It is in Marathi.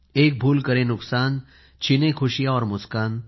एक भूल करे नुकसान छीने खुशियाँ और मुस्कान